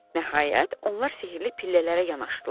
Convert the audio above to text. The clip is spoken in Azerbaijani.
Nəhayət, onlar sehrli pillələrə yanaşdılar.